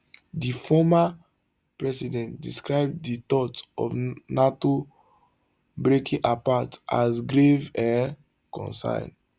di former president describe di thought of nato breaking apart as grave um concern